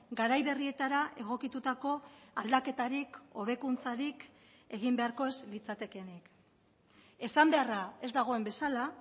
garai berrietara egokitutako aldaketarik hobekuntzarik egin beharko ez litzatekeenik esan beharra ez dagoen bezala